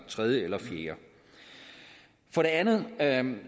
tredje eller fjerde for det andet andet